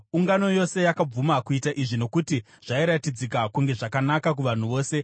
Ungano yose yakabvuma kuita izvi, nokuti zvairatidzika kunge zvakanaka kuvanhu vose.